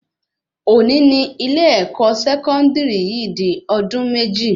Òní ní ilé-èkó sẹkọndiri yìí di ọdún méjì